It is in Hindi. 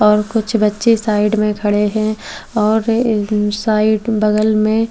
और कुछ बच्चे साइड में खड़े है और अम्म साइड अम बगल में--